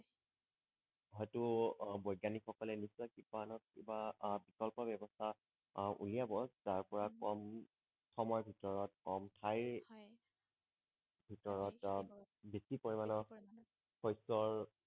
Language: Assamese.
হয়টো আহ বৈজ্ঞানিক সকলে নিশ্চয় কিবা নহয় কিবা আহ বিকল্প ব্যৱস্থা আহ উলিয়াব যাৰ পৰা কম সময় ভিতৰত কম ঠাইৰ হয় ভিতৰত আহ বেছি পৰিমাণে শস্যৰ